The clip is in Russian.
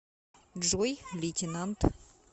джой лейтенант